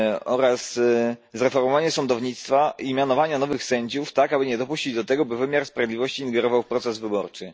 oraz zreformowanie sądownictwa i mianowanie nowych sędziów tak, aby nie dopuścić do tego, by wymiar sprawiedliwości ingerował w proces wyborczy.